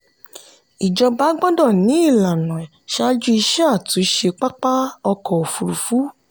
ìjọba gbọ́dọ̀ ní ìlànà ṣáájú iṣẹ́ àtúnṣe pápá ọkọ̀ òfurufú.